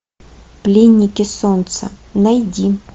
пленники солнца найди